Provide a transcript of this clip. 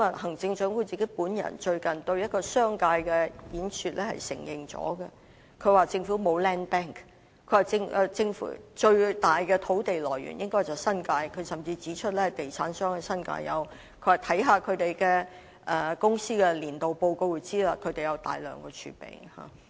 行政長官最近在一次對商界的演說中亦已承認這一點，她說政府沒有 land bank， 最大的土地來源應該是新界，她甚至指出地產商在新界擁有土地，只要看看這些公司的年度報告便知道它們有大量土地儲備。